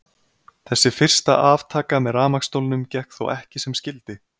Þessi fyrsta aftaka með rafmagnsstólnum gekk þó ekki sem skyldi.